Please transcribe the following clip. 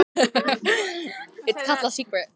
Viggó Jónsson: Erfiðara heldur en þú bjóst við?